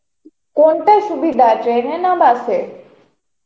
কোনটা সুবিধা, train এ না bus এ?